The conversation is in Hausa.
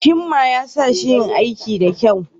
Himma ya sa shi yin aikin da kyau